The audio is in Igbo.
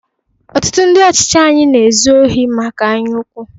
Otụtụ ndị ọchịchị anyị na ezu ori maka anyaukwu.